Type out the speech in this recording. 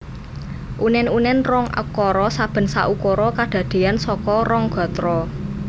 Unen unen rong ukara saben saukara kadadean saka rong gatra